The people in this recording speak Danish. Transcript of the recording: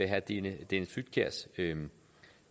herre dennis dennis flydtkjærs